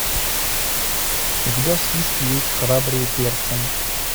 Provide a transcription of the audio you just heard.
у тебя в списке есть храбрые перцем